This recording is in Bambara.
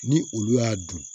Ni olu y'a dun